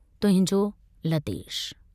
तुहिंजो लतेश।